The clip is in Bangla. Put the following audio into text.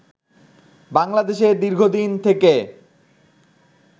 বাংলাদেশে দীর্ঘদিন থেকে